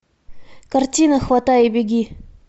картина хватай и беги